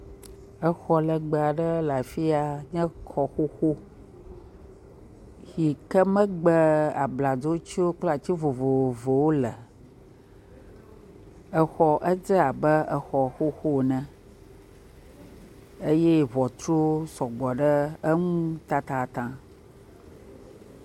Exɔ legbe aɖe le afi ya nye xɔ xoxo, yi ke megbe abladzotiwo kple ati vovovowo le, exɔ edze abe exɔ xoxo ene eye ŋɔtru sɔgbɔ ɖe enu tatataŋ.